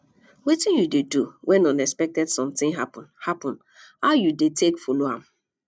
wetin you dey do when unexpected something happen happen how you dey take follow am